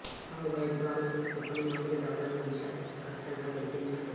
చావు భయంతో అరుస్తున్న కుక్కను మొసలి దవడల నుంచి అతికష్టంగా విడిపించాడు